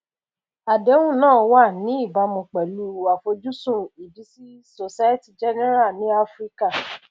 àdéhùn náà wà ní ìbámu pẹlú àfojúsùn ìbísí societe generale ní áfíríkà